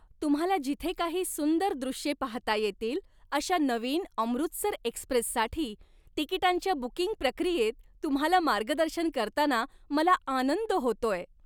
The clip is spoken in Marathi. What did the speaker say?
तुम्हाला जिथे काही सुंदर दृश्ये पाहता येतील अशा नवीन 'अमृतसर एक्सप्रेस'साठी तिकीटांच्या बुकिंग प्रक्रियेत तुम्हाला मार्गदर्शन करताना मला आनंद होतोय!